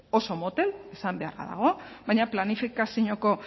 oso motel esan beharra dago baina planifikazioko